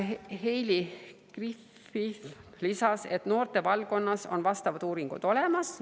Heili Griffith lisas, et noortevaldkonnas on vastavad uuringud olemas.